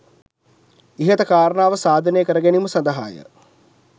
ඉහත කාරණාව සාධනය කර ගැනීම සදහාය.